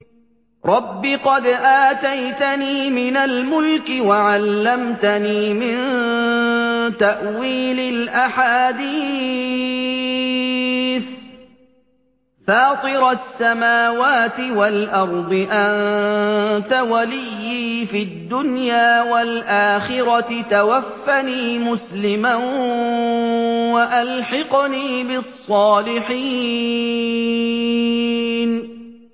۞ رَبِّ قَدْ آتَيْتَنِي مِنَ الْمُلْكِ وَعَلَّمْتَنِي مِن تَأْوِيلِ الْأَحَادِيثِ ۚ فَاطِرَ السَّمَاوَاتِ وَالْأَرْضِ أَنتَ وَلِيِّي فِي الدُّنْيَا وَالْآخِرَةِ ۖ تَوَفَّنِي مُسْلِمًا وَأَلْحِقْنِي بِالصَّالِحِينَ